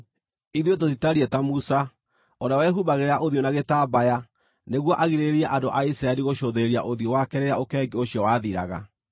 Ithuĩ tũtitariĩ ta Musa, ũrĩa wehumbagĩra ũthiũ na gĩtambaya nĩguo agirĩrĩrie andũ a Isiraeli gũcũthĩrĩria ũthiũ wake rĩrĩa ũkengi ũcio wathiraga.